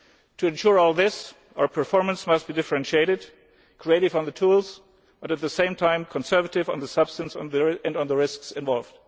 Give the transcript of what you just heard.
To ensure all this, our performance must be differentiated, creative on the tools and, at the same time, conservative on the substance and on the risks involved.